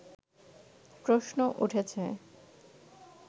প্রশ্ন উঠেছে